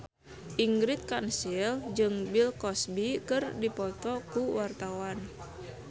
Ingrid Kansil jeung Bill Cosby keur dipoto ku wartawan